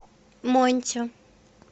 монти